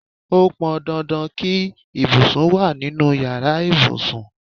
Ó pọn dandan kí ibùsùn wá nínú ìyára ibùsùn.